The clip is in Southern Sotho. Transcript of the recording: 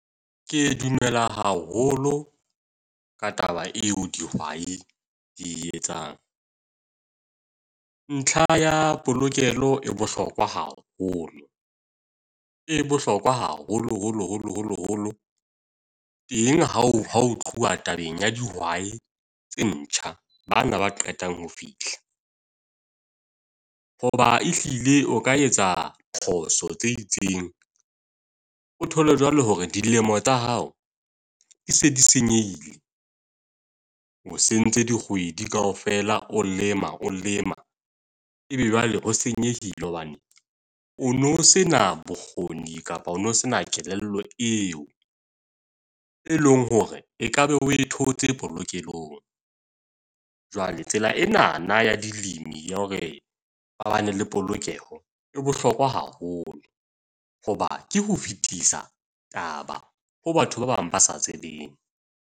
Ke dumela haholo, ka taba eo dihwai di etsang. Ntlha ya polokelo e bohlokwa haholo. E bohlokwa haholo holo holo holo holo teng ha ho ho tluwa tabeng ya dihwai tse ntjha. Bana ba qetang ho fihla. Ho ba e hlile o ka etsa phoso tse itseng, o thole jwalo hore dilemo tsa hao e se di senyehile, o sentse dikgwedi kaofela, o lema a lema. E be jwale ho senyehile hobane o no sena bokgoni kapa o no se na kelello eo, e leng hore ekaba o e thotse polokehong. Jwale tsela enana ya dilemo ya hore ba bana le polokeho e bohlokwa haholo. Hoba ke ho fetisa taba ho batho ba bang ba sa tsebeng.